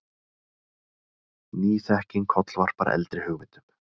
Ný þekking kollvarpar eldri hugmyndum.